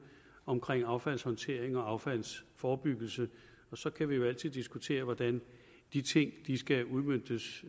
omkring affaldshåndtering og affaldsforebyggelse så kan vi jo altid diskutere hvordan de ting skal udmøntes